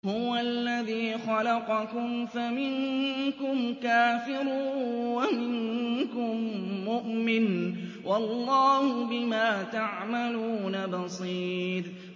هُوَ الَّذِي خَلَقَكُمْ فَمِنكُمْ كَافِرٌ وَمِنكُم مُّؤْمِنٌ ۚ وَاللَّهُ بِمَا تَعْمَلُونَ بَصِيرٌ